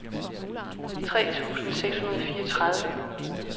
tre tusind seks hundrede og fireogtredive